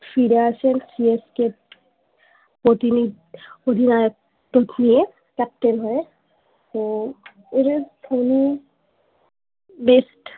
সে ফিরে আসেন C S K এর প্রতিনিধি অধিনায়ক তো নিয়ে ক্যাপ্টেন হয়ে তোও ওঁদের বেস্ট